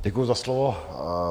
Děkuji za slovo.